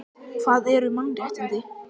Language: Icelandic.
Hvað eru mannréttindi?